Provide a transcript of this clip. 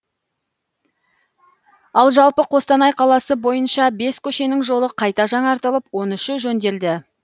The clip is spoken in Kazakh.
ал жалпы қостанай қаласы бойынша бес көшенің жолы қайта жаңартылып он үші жөнделеді